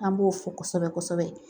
An b'o fɔ kosɛbɛ kosɛbɛ